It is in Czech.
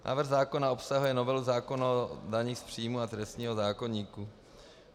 Návrh zákona obsahuje novelu zákona o daních z příjmů a trestního zákoníku.